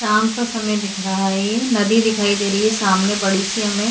शाम का समय दिख रहा है नदी दिखाई दे रही है सामने बड़ी सी हमें।